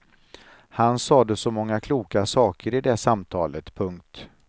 Han sade så många kloka saker i det samtalet. punkt